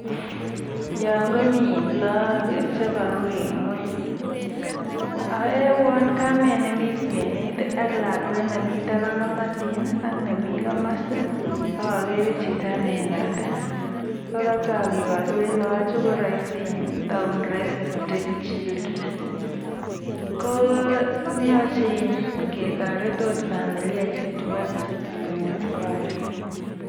Yoon komii look chekoru en ngweny, oo uwon kamet nemii kwenet ak lakwet nemii taban komosin ak nemii komosi ak okere chito newendote oo kotok yukorwen loochu koroisi iin taon roisi street children, ko yoche oot ketoret familiaishek chubo Street konyor korik.